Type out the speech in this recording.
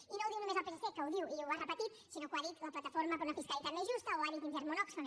i no ho diu només el psc que ho diu i ho ha repetit sinó que ho ha dit la plataforma per una fiscalitat més justa o ho ha dit intermón oxfam